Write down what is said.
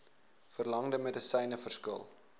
verlangde medisyne verskil